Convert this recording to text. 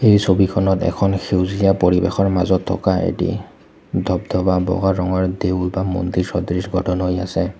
এই ছবিখনত এখন সেউজীয়া পৰিৱেশৰ মাজত থকা এটি ধব-ধবা বগা ৰঙৰ দেউল বা মন্দিৰ সদৃশ বটন হৈ আছে।